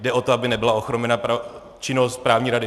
Jde o to, aby nebyla ochromena činnost správní rady.